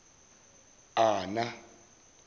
ana